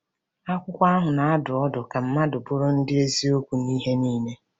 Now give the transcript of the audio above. Akwụkwọ ahụ na-adụ ọdụ ka mmadụ bụrụ ndị eziokwu n’ihe niile.